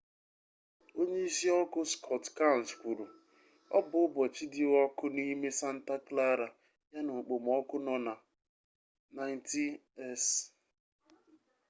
onyeisi ọkụ scott kouns kwuru ọ bụ ụbọchị dị ọkụ n'ime santa clara ya na okpomọkụ nọ na 90s